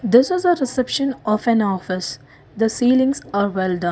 this is a reception of an office the ceilings are well done.